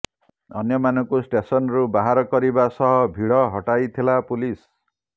ଅନ୍ୟମାନଙ୍କୁ ଷ୍ଟେସନରୁ ବାହାର କରିବା ସହ ଭିଡ଼ ହଟାଇଥିଲା ପୋଲିସ